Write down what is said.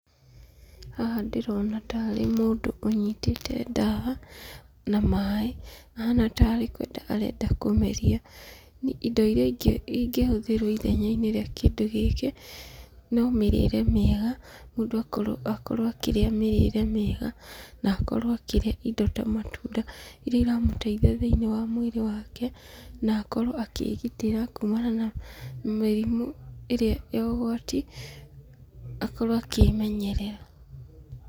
Haha ndĩrona tarĩ mũndũ ũnyitĩte ndawa na maĩ, ahana tarĩ kwenda arenda kũmeria. Indo iria ingĩ ingĩhũthĩrwo ithenya-inĩ rĩa kĩndũ gĩkĩ, no mĩrĩre miega, mũndũ akorwo akĩrĩa mĩrĩre mĩega, na akorwo akĩrĩa indo ta matunda iria iramũteithia thĩinĩ wa mwĩrĩ wake, na akorwo akĩĩgitĩra kuumana na mĩrimũ ĩrĩa ya ũgwati akorwo akĩĩmenyerera.